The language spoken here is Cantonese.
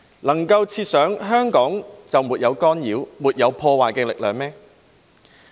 能夠設想香港就沒有干擾，沒有破壞力量嗎？